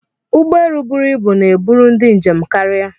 Ụgbọelu bụrụ ịbụ na-eburu ndị njem karịa.